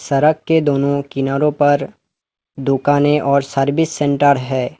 सड़क के दोनों किनारो पर दुकाने और सर्विस सेंटर है।